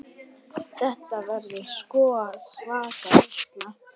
Þetta verður sko svaka veisla.